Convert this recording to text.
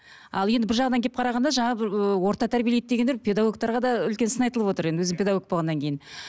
ал енді бір жағынан келіп қарағанда жаңа орта тәрбиелейді дегендер педагогтарға да үлкен сын айтылып отыр өзім педагог болғаннан кейін